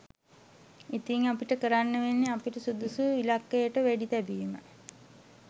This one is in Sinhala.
ඉතිං අපිට කරන්න වෙන්නෙ අපිට සුදුසු ඉලක්කයට වෙඩිතැබීම